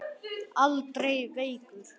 Aldrei veikur.